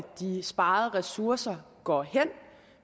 de sparede ressourcer går hen